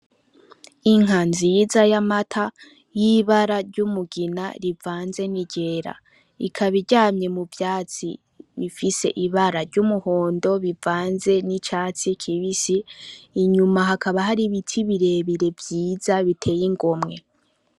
Inka nziza y'amata, y'ibara ry'umugina rivanze n'iryera; ikaba iryamye muvyatsi ifise ibara ry'umuhondo rivanze n'icatsi kibisi ,inyuma hakaba hari ibiti birebire vyiza biteye igomwe.